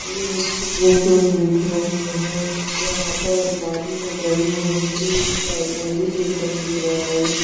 एक बूके दिख रही हैं जहां पर अलमारी में जमी हुई है एक लाइब्रेरी जैसा दिख रहा है।